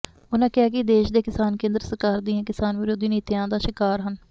ਉਨਾਂ ਕਿਹਾ ਕਿ ਦੇਸ਼ ਦੇ ਕਿਸਾਨ ਕੇਂਦਰ ਸਰਕਾਰ ਦੀਆਂ ਕਿਸਾਨ ਵਿਰੋਧੀ ਨੀਤੀਆਂ ਦਾ ਸ਼ਿਕਾਰ ਹਨ